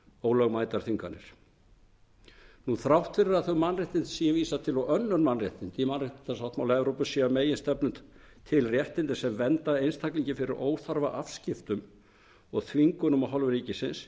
ólögmætar þvinganir þrátt fyrir að þau mannréttindi sem ég vísa til og önnur mannréttindi í mannréttindasáttmála evrópu séu að meginstefnu til réttindi sem vernda einstaklinginn fyrir óþarfa afskiptum og þvingunum af hálfu ríkisins